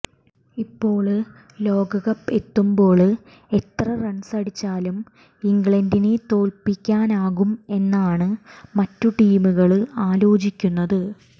ഇപ്പോള് ലോകകപ്പ് എത്തുമ്പോള് ഏത്ര റണ്സ് അടിച്ചാല് ഇംഗ്ലണ്ടിനെ തോല്പ്പിക്കാനാകും എന്നാണ് മറ്റു ടീമുകള് ആലോചിക്കുന്നത്